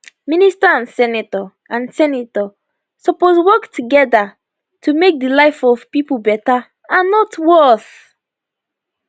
minister and senator and senator suppose work togeda to make di life of di pipo beta and not worse